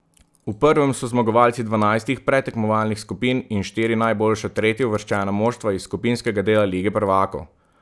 V prvem so zmagovalci dvanajstih predtekmovalnih skupin in štiri najboljša tretjeuvrščena moštva iz skupinskega dela lige prvakov.